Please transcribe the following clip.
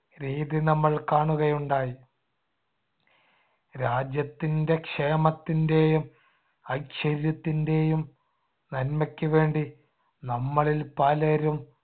രീതി നമ്മൾ കാണുകയുണ്ടായി. രാജ്യത്തിൻടെ ക്ഷേമത്തിന്‍ടെയും ഐശ്വര്യത്തിന്‍ടെയും നന്മക്കുവേണ്ടി നമ്മളിൽ പലരും